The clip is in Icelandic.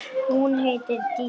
Hún heitir Dísa.